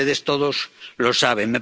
Y ustedes, todos, lo saben.